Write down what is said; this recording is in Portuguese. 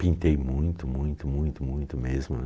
Pintei muito, muito, muito, muito mesmo, né.